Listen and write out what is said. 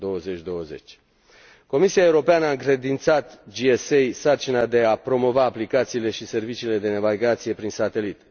2020. Comisia Europeană a încredințat GSA sarcina de a promova aplicațiile și serviciile de navigație prin satelit.